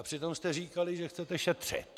A přitom jste říkali, že chcete šetřit.